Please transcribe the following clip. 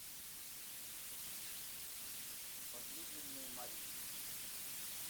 возлюбленные марии